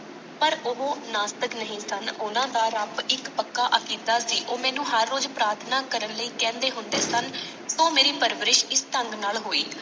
ਪਰ ਉਹ ਨਾਸਤਿਕ ਨਹੀਂ ਸਨ ਉਹਨਾਂ ਦਾ ਰੱਬ ਇਕ ਪੱਕਾ ਅਕੀਦਾ ਸੀ ਉਹ ਮੈਨੂੰ ਹਰ ਰੋਜ਼ ਪ੍ਰਾਰਥਨਾ ਕਰਨ ਲਈ ਕਹਿੰਦੇ ਹੁੰਦੇ ਸਨ ਉਹ ਮੇਰੀ ਪਰਵਰਿਸ਼ ਇਸ ਢੰਗ ਨਾਲ ਹੋਈ।